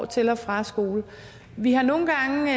til og fra skole vi har nogle gange